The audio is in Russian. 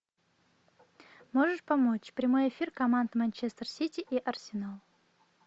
можешь помочь прямой эфир команд манчестер сити и арсенал